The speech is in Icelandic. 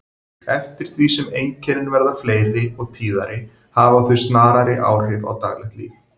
Eftir því sem einkennin verða fleiri og tíðari hafa þau snarari áhrif á daglegt líf.